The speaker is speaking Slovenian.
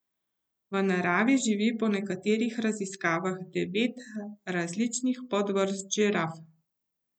V naravi živi po nekaterih raziskavah devet različnih podvrst žiraf.